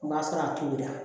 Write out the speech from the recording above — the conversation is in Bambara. O b'a sɔrɔ a tobira